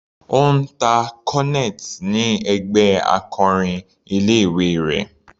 Ó ń ta cornet ni ẹgbẹ́ akọrin ilé ìwé rẹ̀.